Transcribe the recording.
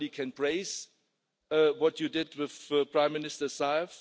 I can only praise what you did with Prime Minister Zaev.